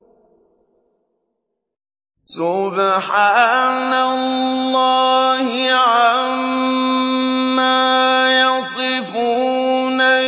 سُبْحَانَ اللَّهِ عَمَّا يَصِفُونَ